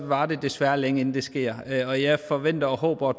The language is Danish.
varer det desværre længe inden det sker og jeg forventer og håber